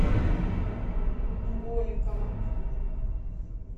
голикова